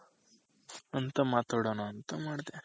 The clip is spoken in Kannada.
ಅಂತ ಮಾತಡಣ ಅಂತ ಮಾಡ್ದೆ.